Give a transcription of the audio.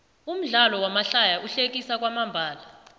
umdlalo wamahlaya uhlekisa kwamambalo